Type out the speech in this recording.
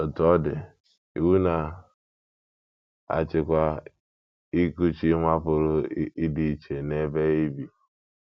Otú ọ dị, iwu na - achịkwa ikuchi nwa pụrụ ịdị iche n’ebe i bi.